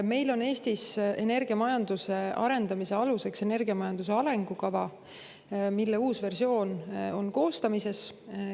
Meil on Eestis energiamajanduse arendamise aluseks energiamajanduse arengukava, mille uus versioon on koostamisel.